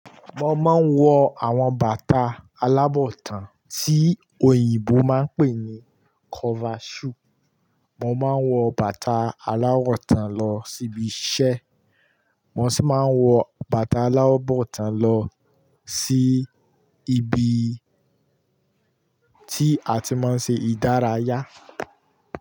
Mo máa ń wọ àwọn bàtà alábọ̀tàn tí òyìnbó máa ń pè ní cover shoe. Mo máa ń wọ bàtà aláwọ̀ tán lọ síbi iṣẹ́, mo sì máa ń wọ bàtà alábọ̀tàn lọ sí ibi tí a ti máa ń ṣe ìdárayá.